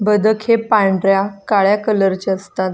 बदक हे पांढऱ्या काळ्या कलर चे असतात.